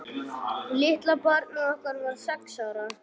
Litla barnið okkar var sex ára.